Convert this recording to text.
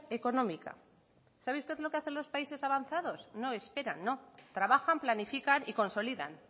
económica sabe usted lo que hacen los países avanzados no esperan no trabajan planifican y consolidan